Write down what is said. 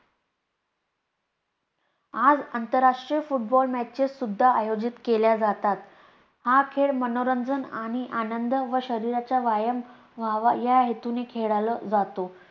आज आंतरराष्ट्रीय footballmatches सुद्धा आयोजित केल्या जातात. हा खेळ मनोरंजन आणि आनंद व शरीराचा व्यायाम व्हावा या हेतूने खेळला जातो.